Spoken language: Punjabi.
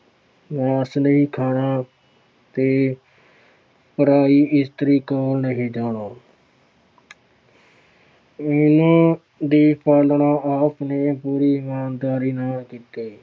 ਮਾਸ ਨਹੀਂ ਖਾਣਾ ਤੇ ਪਰਾਈ ਇਸਤਰੀ ਕੋਲ ਨਹੀਂ ਜਾਣਾ ਇਹਨਾਂ ਦੀ ਪਾਲਣਾ ਆਪ ਨੇ ਪੂਰੀ ਇਮਾਨਦਾਰੀ ਨਾਲ ਕੀਤੀ।